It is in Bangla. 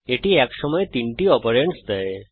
এটি এক সময়ে তিনটি অপারেন্ডস নেয়